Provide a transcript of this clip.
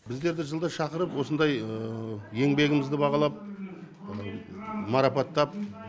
біздерді жылда шақырып осындай еңбегімізді бағалап марапаттап